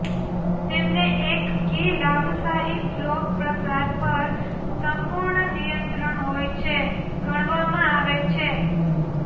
તેમને એક કી લાભ શાહી ફ્લો પ્રસાર પર સંપૂર્ણ નિયંત્રણ હોય છે ગણવામાં આવે છે